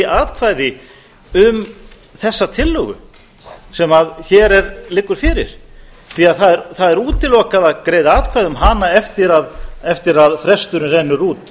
atkvæði um þessa tillögu sem hér liggur fyrir því það er útilokað að greiða atkvæði um hana eftir að fresturinn rennur út